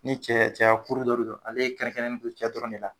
Ni cɛ cɛya kuru dɔ de don ale kɛrɛnkɛrɛn ne do cɛ dɔrɔn de la.